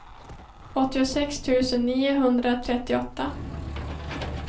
åttiosex tusen niohundratrettioåtta